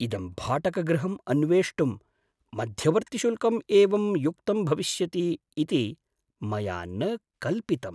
इदं भाटकगृहम् अन्वेष्टुं मध्यवर्तिशुल्कं एवं युक्तं भविष्यति इति मया न कल्पितम्।